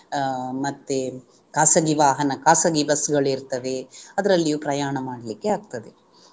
ಅಹ್ ಮತ್ತೆ ಖಾಸಗಿ ವಾಹನ ಖಾಸಗಿ ಬಸ್ಸುಗಳಿರ್ತದೆ ಅದರಲ್ಲಿಯೂ ಪ್ರಯಾಣ ಮಾಡ್ಲಿಕ್ಕೆ ಆಗ್ತದೆ